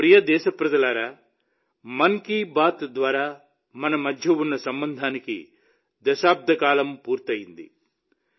నా ప్రియమైన దేశప్రజలారా మన్ కీ బాత్ ద్వారా మన మధ్య ఉన్న సంబంధానికి దశాబ్ద కాలం పూర్తయింది